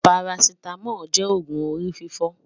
pàràcìtàmòl jé ọgùn òrí fìfò